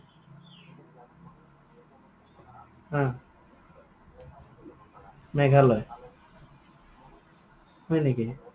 অ। মেঘালয়? হয় নেকি?